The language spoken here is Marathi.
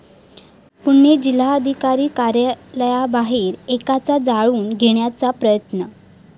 पुणे जिल्हाधिकारी कार्यालयाबाहेर एकाचा जाळून घेण्याचा प्रयत्न